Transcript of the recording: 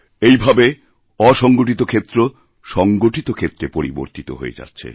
এই ভাবে অসংগঠিতক্ষেত্র সংগঠিত ক্ষেত্রে পরিবর্তিত হয়ে যাচ্ছে